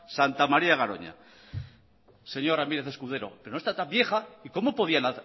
santa maría garoña señor ramírez escudero pero no está tan vieja y cómo podían